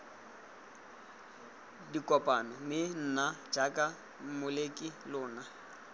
dikopano mme nna jaaka molemikalona